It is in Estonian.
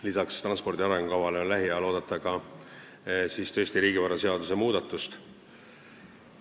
Lisaks transpordi arengukavale on lähiajal oodata ka tõesti riigivaraseaduse muudatust.